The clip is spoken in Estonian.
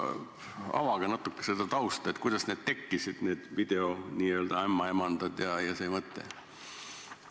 Avage natuke seda tausta, kuidas need tekkisid, need n-ö videoämmaemandad ja see mõte?